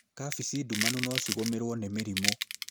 kabeci ndumanu nocigũmĩrwo nĩ mĩrimũ.